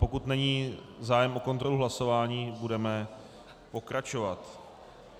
Pokud není zájem o kontrolu hlasování, budeme pokračovat.